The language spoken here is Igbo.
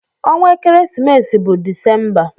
Ọnwa ekeresimesi bụ December.